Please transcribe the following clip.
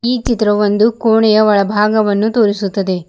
ಈ ಚಿತ್ರವು ಒಂದು ಕೋಣೆಯ ಒಳಭಾಗವನ್ನು ತೋರಿಸುತ್ತದೆ.